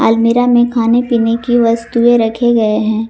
अलमीरा में खाने पीने की वस्तुएं रखे गए हैं।